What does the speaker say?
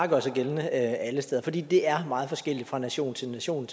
gøre sig gældende alle steder fordi det er meget forskelligt fra nation til nation